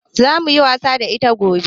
Zamuyi wasa da ita gobe